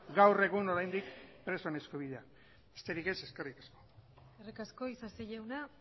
gaur egun oraindik presoen eskubideak besterik ez eskerrik asko eskerrik asko isasi jauna